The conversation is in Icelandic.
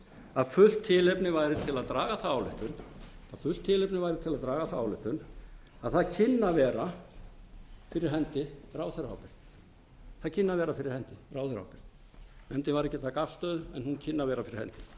að fullt tilefni væri til að draga þá ályktun að það kynni að vera fyrir hendi ráðherraábyrgð nefndin tók ekki afstöðu en hún kynni að vera fyrir hendi